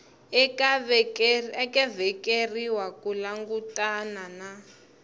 nga vekeriwa ku langutana na